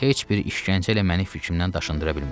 Heç bir işgəncə ilə mənim fikrimdən daşındıra bilməz.